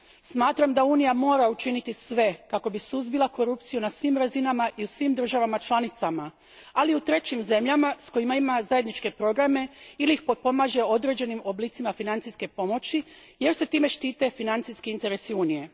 Smatram da Unija mora učiniti sve kako bi suzbila korupciju na svim razinama i u svim državama članicama, ali i u trećim zemljama s kojima ima zajedničke programe ili ih potpomaže određenim oblicima financijske pomoći jer se time štite financijski interesi Unije.